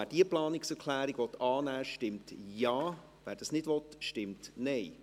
Wer diese Planungserklärung annehmen will, stimmt Ja, wer das nicht will, stimmt Nein.